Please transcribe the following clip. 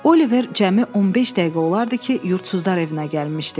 Oliver cəmi 15 dəqiqə olardı ki, yurdsuzlar evinə gəlmişdi.